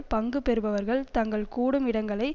பங்கு பெறுபவர்கள் தங்கள் கூடும் இடங்களை